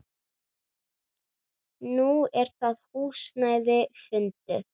Nú er það húsnæði fundið.